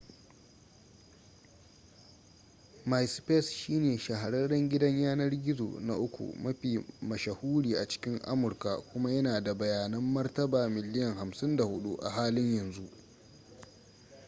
myspace shine shahararren gidan yanar gizo na uku mafi mashahuri a cikin amurka kuma yana da bayanan martaba miliyan 54 a halin yanzu